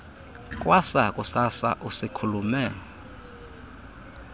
kwasa kusasa usiikhulume